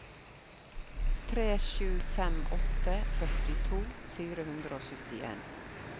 tre sju fem åtte førtito fire hundre og syttien